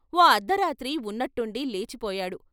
ఓ అర్ధరాత్రి ఉన్నట్టుండి లేచి పోయాడు.